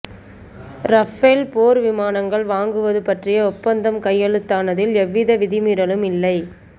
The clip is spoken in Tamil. ரஃபேல் போர் விமானங்கள் வாங்குவது பற்றிய ஒப்பந்தம் கையெழுத்தானதில் எவ்வித விதிமீறலும் இல்லை